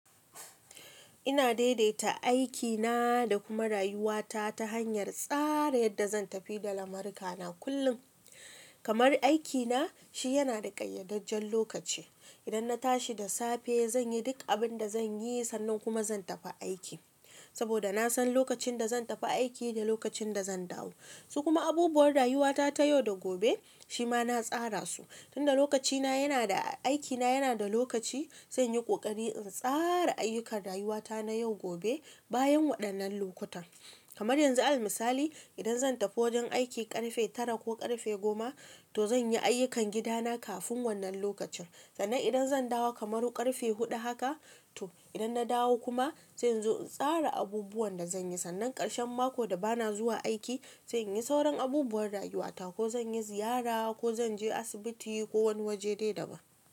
Ina daidaita aikina da kuma rayuwata ta hanyar tsara yadda zan tafi da lamurkana kullum. Kamar aikina shi yana da ƙayyadajjen lokaci. Idan na tashi da safe, zan yi duk abin da zan yi sannan kuma zan tafi aiki. Saboda na san lokacin da zan tafi aiki da lokacin da zan dawo. Su kuma abubuwan rayuwata ta yau da gobe shi ma na tsara su. Tun da lokacina yana da, aikina yana da lokaci, zan yi ƙoƙari in tsara ayyukan rayuwata na yau gobe bayan waɗannan lokutan. Kamar yanzu alal misali, idan zan tafi wajen aiki ƙarfe tara ko ƙarfe goma, to zan yi ayyukan gidana kafin wannan lokacin. Sannan idan zan dawo kamar ƙarfe huɗu haka, to idan na dawo kuma sai in zo in tsara abubuwan da zan yi. Sannan ƙarshen mako da ba na zuwa aiki, sai inyi sauran abubuwan rayuwata ko zan yi ziyara ko zan je asibiti ko wani waje dai daban.